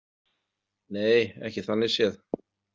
Nei, ekki þannig séð.